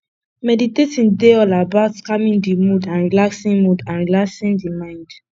meditating dey all about calming di mood and relaxing mood and relaxing di mind